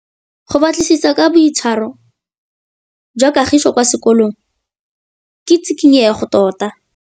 Go batlisisa ka boitshwaro jwa Kagiso kwa sekolong ke tshikinyêgô tota.